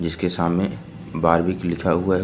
उसके सामने बॉर्बीज लिखा हुआ है।